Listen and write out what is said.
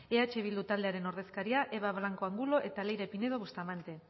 eh bildu taldearen ordezkariak eva blanco de angulo eta leire pinedo bustamante